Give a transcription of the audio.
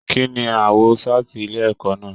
Kínní aawọ saati ilé ẹ̀kọ́ náà?